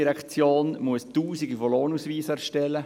Die ERZ muss Tausende von Lohnausweisen erstellen.